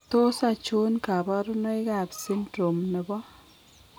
Tos achon kabarunaik ab Syndrome nebo